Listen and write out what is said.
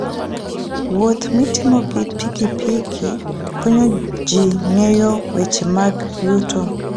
Wuoth mitimo gi pikipiki konyo ji ng'eyo weche mag yuto.